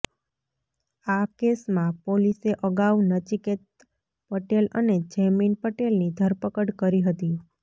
આ કેસમાં પોલીસે અગાઉ નચિકેત પટેલ અને જૈમિન પટેલની ધરપકડ કરી હતી